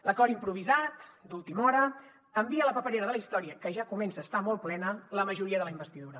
l’acord improvisat d’última hora envia a la paperera de la història que ja comença a estar molt plena la majoria de la investidura